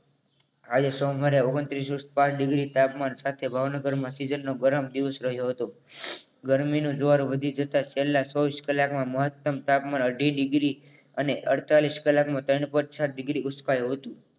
આજે સોમવારે ઓગનતીસ point પાંચ degree તાપમાન સાથે ભાવનગર મા season નો ગરમ દિવસ રહ્યો હતો ગરમીનું જોર વધી જતા પહેલા ચોવીસ કલાકમાં મહત્તમ તાપમાન અઢી degree અને અડતાલીસ કલાકમાં ત્રણ point છ ડિગ્રી ઊંચકાયું હતું